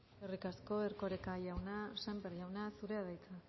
eskerrik asko erkoreka jauna sémper jauna zurea da hitza